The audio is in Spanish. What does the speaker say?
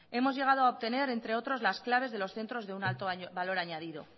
hemos llegado a obtener entre otros las claves de los centros de un alto valor añadido